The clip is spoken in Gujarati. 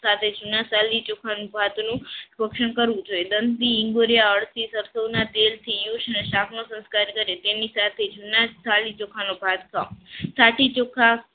સાથે જુના સેલ ની જોખબાદનો રક્ષણ કરવું જોઈએ દંભી ભર્યા તેલથી શાકમાં સંસ્કાર કરે તેની સાથે જુના થાળી ચોખા નો ભાત ખાવો થાક